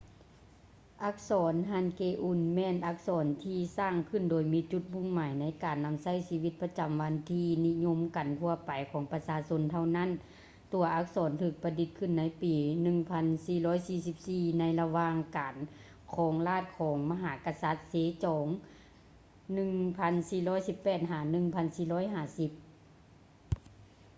ອັກສອນ ຮັນເກອູນ hangeul ແມ່ນອັກສອນທີ່ສ້າງຂຶ້ນໂດຍມີຈຸດມຸ່ງໝາຍໃນການນຳໃຊ້ໃນຊີວິດປະຈຳວັນທີ່ນິຍົມກັນທົ່ວໄປຂອງປະຊາຊົນເທົ່ານັ້ນ. ຕົວອັກສອນຖືກປະດິດຂຶ້ນໃນປີ 1444 ໃນລະຫວ່າງການຄອງລາດຂອງມະຫາກະສັດ ເຊຈອງ 1418 - 1450